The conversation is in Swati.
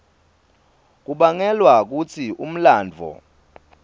kubangelwa kutsi umlandvo